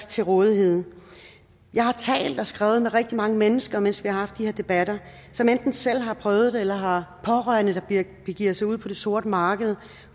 til rådighed jeg har talt og skrevet med rigtig mange mennesker mens vi har haft de her debatter som enten selv har prøvet det eller har pårørende der begiver sig ud på det sorte marked